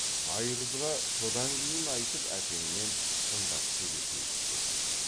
айғызға содан кейін айтып әкеңмен шындап сөйлесейік деді